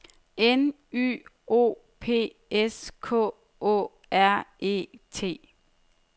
N Y O P S K Å R E T